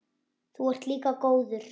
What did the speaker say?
Þú ert líka góður.